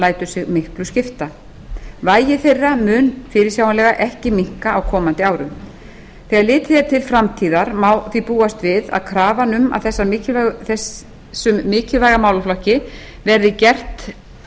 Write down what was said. lætur sig miklu skipta vægi þeirra mun fyrirsjáanlega ekki minnka á komandi árum þegar litið er til framtíðar má því búast við að gerðar verði meiri kröfur um að þessum mikilvæga málaflokki verði gert